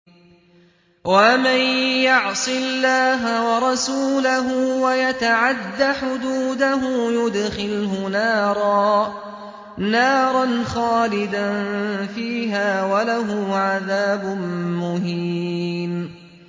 وَمَن يَعْصِ اللَّهَ وَرَسُولَهُ وَيَتَعَدَّ حُدُودَهُ يُدْخِلْهُ نَارًا خَالِدًا فِيهَا وَلَهُ عَذَابٌ مُّهِينٌ